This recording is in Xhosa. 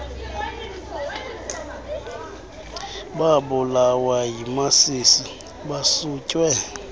babulawa yimasisi basutywe